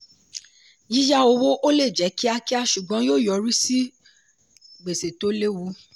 yíyá owó ó lè jẹ́ kíákíá ṣùgbọ́n yóò yọrí sí gbèsè tó lewu.